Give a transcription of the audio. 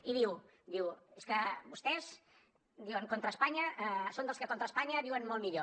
i diu diu és que vostès diuen són dels que contra espanya viuen molt millor